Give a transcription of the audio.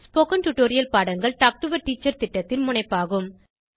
spoken tutorial பாடங்கள் talk to a teacher திட்டத்தின் முனைப்பாகும்